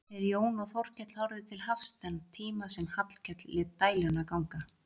Þeir Jón og Þórkell horfðu til hafs þann tíma sem Hallkell lét dæluna ganga.